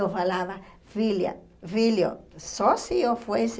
Eu falava, filha, filho, só se eu fosse...